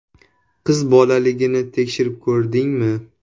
Qizbolaligini tekshirib ko‘rdingmi?